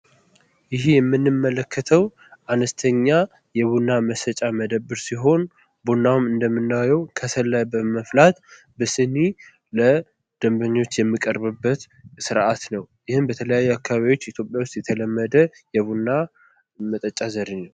ይሄ የምንመለከተው አነስተኛ የቡና መሸጫ መደብር ሲሆን ቡናውን እንደምናየው ከሰል ላይ በማፍላት በስኒ ለደንበኞች የሚቀርብበት ስርአት ነው። ይህም በተለያየ አካባቢዎች ኢትዮጵያ ውስጥ የተለመደ የቡና መጠጫ ዘዴ ነው።